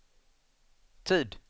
tid